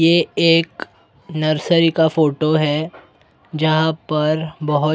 ये एक नर्सरी का फोटो हैं जहाँ पर बहुत--